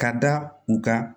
Ka da u kan